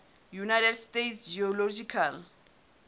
united states geological